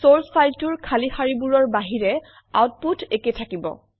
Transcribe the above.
চৰ্চ ফাইলটোৰ খালী শাৰীবোৰৰ বাহিৰে আউটপুট একে থাকিব